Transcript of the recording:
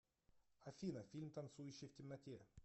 афина фильм танцующая в темноте